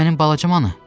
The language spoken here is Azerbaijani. Mənim balacamanı!